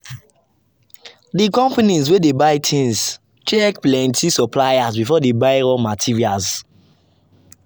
the company people wey dey buy things check plenty suppliers before dem buy raw materials.